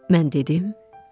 Mən dedim,